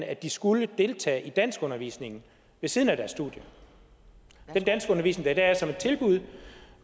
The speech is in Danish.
at de skulle deltage i danskundervisning ved siden af deres studier den danskundervisning er der som et tilbud